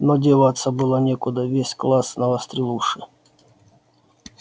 но деваться было некуда весь класс навострил уши